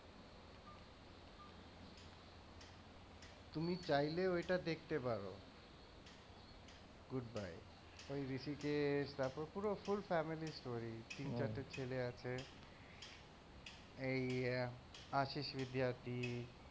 তুমি চাইলেও এটা দেখতে পারো goodbye ওই ঋষিকেশ তারপরে পুরো full family story তিন চারটে ছেলে আছে, এই আশীষ বিদ্যার্থী।